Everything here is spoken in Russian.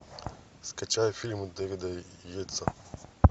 скачай фильм дэвида йейтса